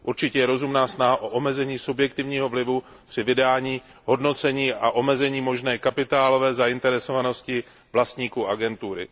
Určitě je rozumná snaha o omezení subjektivního vlivu při vydání hodnocení a omezení možné kapitálové zainteresovanosti vlastníků agentury.